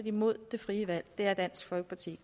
imod det frie valg det er dansk folkeparti